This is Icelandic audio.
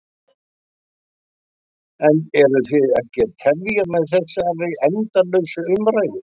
En eruð þið ekki að tefja með þessari endalausu umræðu?